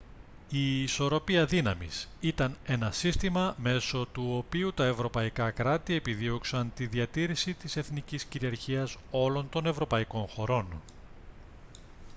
η ισορροπία δύναμης ήταν ένα σύστημα μέσω του οποίου τα ευρωπαϊκά κράτη επιδίωξαν τη διατήρηση της εθνικής κυριαρχίας όλων των ευρωπαϊκών χωρών